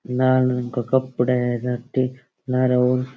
लाल रंग सा कपडा है जट्टी लारे और --